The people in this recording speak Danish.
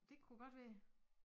Dét kunne godt være